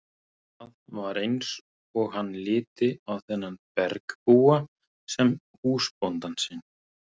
Það var eins og hann liti á þennan bergbúa sem húsbónda sinn.